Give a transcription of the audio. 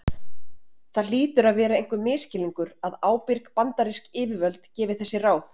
Það hlýtur að vera einhver misskilningur að ábyrg bandarísk yfirvöld gefi þessi ráð.